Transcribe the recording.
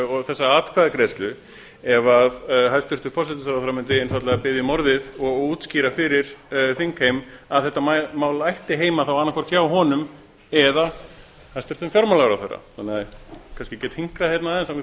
og þessa atkvæðagreiðslu ef hæstvirtur forsætisráðherra mundi einfaldlega biðja um orðið og útskýra fyrir þingheimi að þetta mál ætti heima annað hvort hjá honum eða hæstvirtum fjármálaráðherra þannig að ég kannski get hinkrað hérna aðeins